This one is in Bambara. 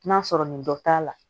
N'a sɔrɔ nin dɔ t'a la